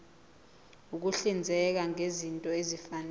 ukuhlinzeka ngezinto ezifanele